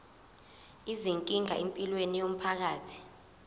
izinkinga empilweni yomphakathi